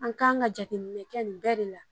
An kan ka jateminɛ nɛ kɛ nin bɛɛ de la